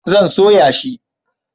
zan soya shi